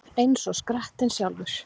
Eins og skrattinn sjálfur